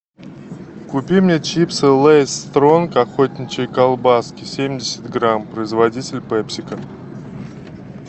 купи мне чипсы лейс стронг охотничьи колбаски семьдесят грамм производитель пепсико